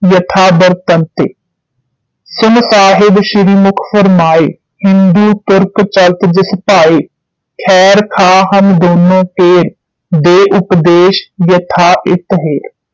ਯਥਾ ਬਰਤੰਡੇ ਸੁਨਿ ਸਾਹਿਬ ਸ੍ਰੀ ਮੁਖ ਵਰਮਾਏ ਹਿੰਦੂ ਤੁਰਕ ਚਲਤ ਜਿਸ ਭਾਏ ਖੈਰਖਾਹ ਹਮ ਦੋਨ੍ਹਾਂ ਕੋਰ ਦੇ ਉਪਦੇਸ਼ ਯਥਾ ਹਿਤ ਹੇਰਿ